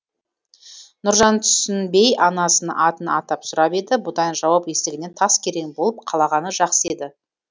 нұржан түсінбей анасын атын атап сұрап еді бұндай жауап естігеннен тас керең болып қалағаны жақсы еді